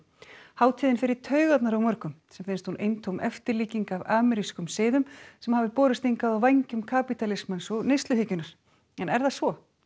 hátíðin fer í taugarnar á mörgum sem finnst hún eintóm eftirlíking af amerískum siðum sem hafa borist hingað á vængjum kapítalismans og neysluhyggjunnar en er það svo